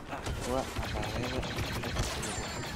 wac makhaayadda Afrika ee kuugu dhow